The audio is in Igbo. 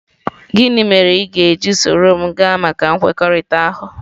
Gịnị mere ị ga-eji soro m gaa maka nkwekọrịta ahụ?